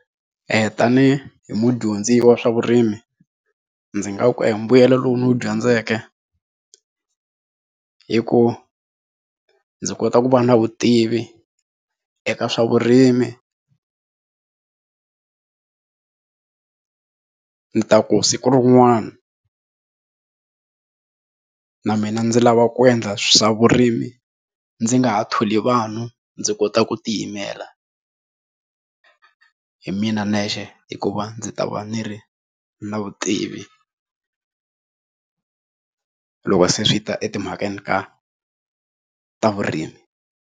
tanihi mudyondzi wa swa vurimi ndzi nga ku mbuyelo lowu ni wu dyondzeke hi ku ndzi kota ku va na vutivi eka swa vurimi ni ta ku siku rin'wana na mina ndzi lava ku endla swa vurimi ndzi nga ha tholi vanhu ndzi kota ku ti yimela hi mina nexe hikuva ndzi ta va ni ri na vutivi loko se swi ta etimhakeni ka ta vurimi.